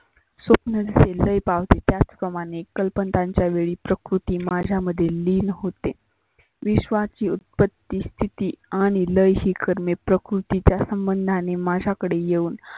स्वप्न लय पावते ज्याच प्रमाणे कल्पतांच्या वेळी प्रकृती माझ्यामध्ये लिन होते. विश्वाची उत्पत्ती स्तिती आणि लय शिकरने प्रकृतीच्या संबधाने माझ्याकडे येऊन